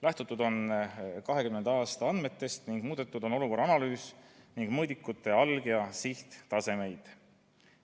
Lähtutud on 2020. aasta andmetest ning muudetud on olukorra analüüsi ning mõõdikute alg- ja sihttasemeid.